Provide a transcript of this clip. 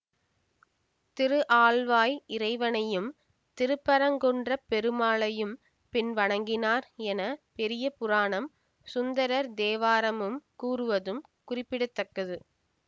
திருஆல்வாய் இறைவனையும் திருப்பரங்குன்ற பெருமானையும் பின் வணங்கினார் என பெரிய புராணம் சுந்தரர் தேவாரமும் கூறுவதும் குறிப்பிட தக்கது